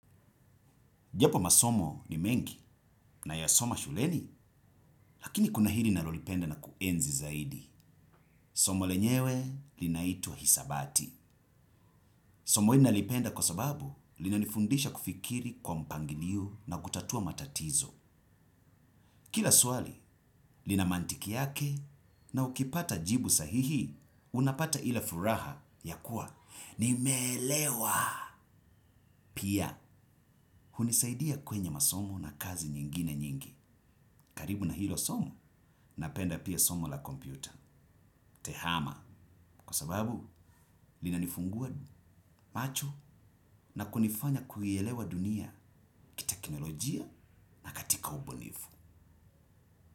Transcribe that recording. Japo masomo ni mengi nayasoma shuleni, lakini kuna hili nalolipenda na kuenzi zaidi. Somo lenyewe linaitwa hisabati. Somo hili nalipenda kwa sababu lilinifundisha kufikiri kwa mpangilio na kutatua matatizo. Kila swali lina mantiki yake na ukipata jibu sahihi unapata ile furaha ya kuwa nimeelewa. Pia hunisaidia kwenye masomo na kazi nyingine nyingi. Karibu na hilo somo napenda pia somo la kompyuta Tehama kwa sababu linanifungua macho na kunifanya kuielewa dunia teknolojia na katika ubunifu.